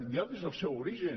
ja des del seu origen